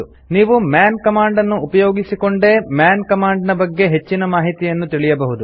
ನೀವು man command ನ್ನು ಉಪಯೋಗಿಸಿಕೊಂಡೇ ಮನ್ ಕಮಾಂಡ್ ನ ಬಗ್ಗೆ ಹೆಚ್ಚಿನ ಮಾಹಿತಿಯನ್ನು ತಿಳಿಯಬಹುದು